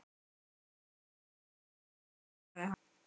Þetta er allt í lagi, svarar hann.